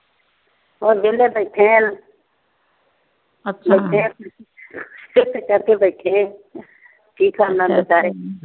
ਬੱਸ ਵੇਲ ਬੈਠੇ ਹਾਂ ਚੁੱਪ ਕਰਕੇ ਬੈਠੇ ਆ। ਕੀ ਕਰਨਾ ਆ।